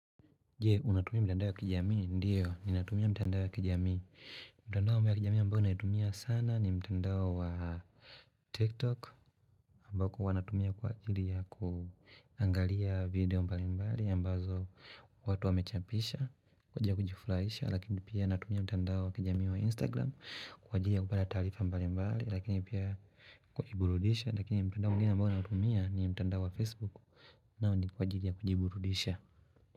Jee, unatumia mtandao ya kijamii? Ndio ni natumia mtandao ya kijamii. Mtandao ya kijamii mbao naitumia sana ni mtandao wa TikTok. Ambao kwa natumia kwa ajili ya kuangalia video mbali mbali.ambao za watu wamechapisha, kwa ajili ya kujifuraisha. Lakini pia natumia mtandao ya kijamii wa Instagram. Kwa jili ya kubala tarifa mbali mbali. Lakini pia kuburudisha. Lakini mtandao mwigine mbao naitumia ni mtandao wa Facebook. Nao ni kwa jili ya kujiburudisha.